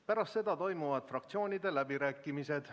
Pärast seda toimuvad fraktsioonide läbirääkimised.